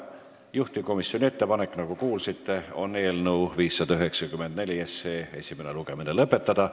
Juhtivkomisjoni ettepanek, nagu kuulsite, on eelnõu 594 esimene lugemine lõpetada.